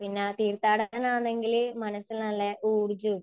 പിന്നെ തീർത്ഥാടനമാണെങ്കിൽ മനസ്സിൽ നല്ല ഊർജ്ജവും.